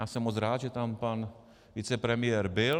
Já jsem moc rád, že tam pan vicepremiér byl.